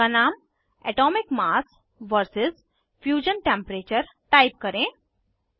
chart का नाम atomic mass vs fusion temperature type करें